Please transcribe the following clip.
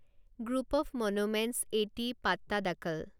group of monuments এটি পাট্টাডাকাল